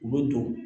U bɛ don